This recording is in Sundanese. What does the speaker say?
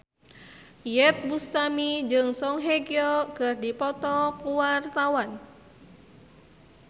Iyeth Bustami jeung Song Hye Kyo keur dipoto ku wartawan